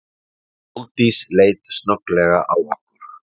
Sóldís leit snögglega á okkur.